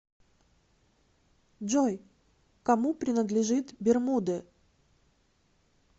джой кому принадлежит бермуды